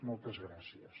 moltes gràcies